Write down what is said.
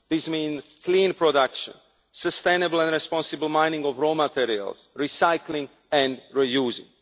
This means clean production, sustainable and responsible mining of raw materials, recycling and reusing.